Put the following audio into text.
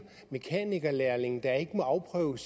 mekanikerlærlingen der ikke må afprøve